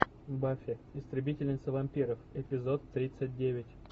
баффи истребительница вампиров эпизод тридцать девять